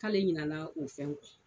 K'ale ɲina na o fɛn kɔ.